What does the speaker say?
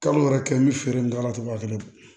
Kalo yɛrɛ kɛ n bɛ feere in kɛ a la cogo min na fana